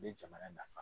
N bɛ jamana nafa